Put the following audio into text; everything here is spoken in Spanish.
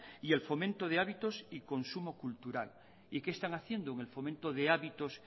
y el fomento de hábitos y consumo cultural y qué están haciendo en el fomento de hábitos